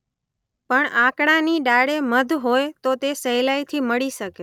પણ આકડાની ડાળે મધ હોય તો તે સહેલાઇથી મળી શકે.